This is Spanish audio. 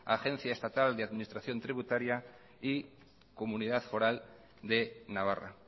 agencia estatal de administración tributaria y comunidad foral de navarra